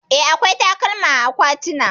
Eh, akwai takalma a akwatina.